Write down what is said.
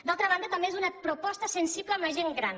d’altra banda també és una proposta sensible amb la gent gran